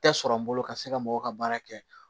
Tɛ sɔrɔ n bolo ka se ka mɔgɔw ka baara kɛ